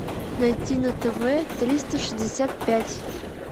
найти на тв триста шестьдесят пять